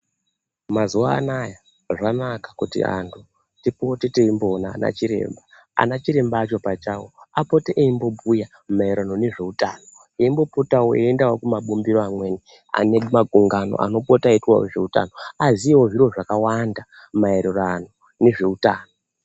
Mazuva anaya zvanaka kuti vantu tipote teimboona anachiremba acho pachawo apote eimbobhuya maererano nezveutano eimbopotawo eimboendawo kumabumbiro ane makungano anombopotawo eiitwawo zveutano, aziyewo zviro zvakawanda maererano nezveutano.